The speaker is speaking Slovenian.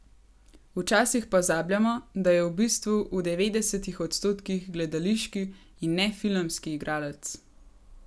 Včasih pozabljamo, da je v bistvu v devetdesetih odstotkih gledališki in ne filmski igralec ...